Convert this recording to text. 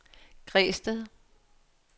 Græsted